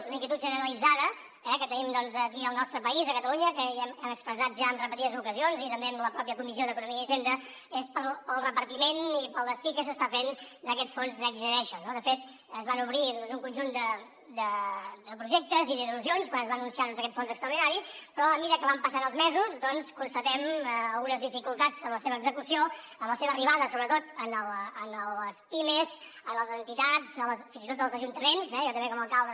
una inquietud generalitzada eh que tenim aquí al nostre país a catalunya que hem expressat ja en repetides ocasions i també a la pròpia comissió d’economia i hisenda pel repartiment i pel destí que s’està fent d’aquests fons next generation no de fet es van obrir un conjunt de projectes i d’il·lusions quan es va anunciar aquest fons extraordinari però a mesura que van passant els mesos constatem algunes dificultats en la seva execució en la seva arribada sobretot a les pimes a les entitats fins i tot als ajuntaments eh jo també com a alcalde